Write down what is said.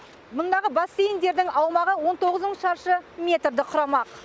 мұндағы бассейндердің аумағы он тоғыз мың шаршы метрді құрамақ